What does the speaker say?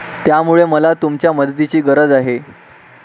त्यामुळे मला तुमच्या मदतीची गरज आहे.